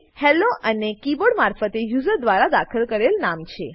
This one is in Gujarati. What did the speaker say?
હેલ્લો અને કીબોર્ડ મારફતે યુઝર દ્વારા દાખલ કરેલ નામ